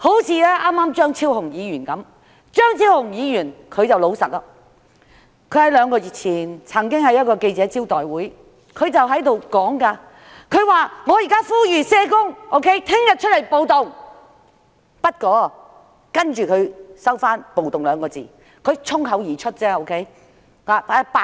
正如張超雄議員剛才般，張超雄議員十分老實，他在兩個月前，曾經在記者招待會上，呼籲社工明天出來暴動，其後他收回"暴動"二字，表示只是衝口而出，他想說的是罷工。